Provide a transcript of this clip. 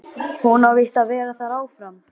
Hún á víst að vera þar áfram